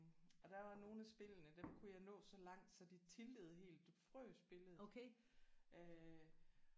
Og der var nogle af spillene dem kunne jeg nå så langt så de tiltede helt. Det frøs billedet